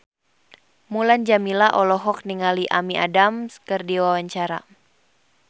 Mulan Jameela olohok ningali Amy Adams keur diwawancara